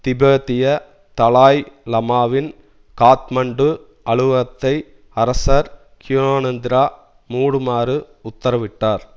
திபேத்திய Dalai லமாவின் காத்மாண்டு அலுவலகத்தை அரசர் க்யானேந்திரா மூடுமாறு உத்தரவிட்டார்